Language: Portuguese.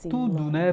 Tudo, né?